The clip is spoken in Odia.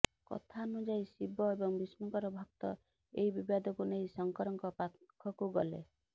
କଥା ଅନୁଯାୟୀ ଶିବ ଏବଂ ବିଷ୍ଣୁଙ୍କର ଭକ୍ତ ଏହି ବିବାଦକୁ ନେଇ ଶଙ୍କରଙ୍କ ପାଖକୁ ଗଲେ